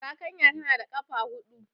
Zakanya tana da ƙafa huɗu.